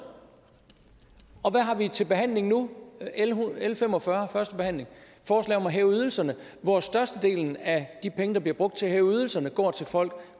og hvad har vi til behandling nu l fem og fyrre første behandling forslag om at hæve ydelserne hvor størstedelen af de penge der bliver brugt til at hæve ydelserne går til folk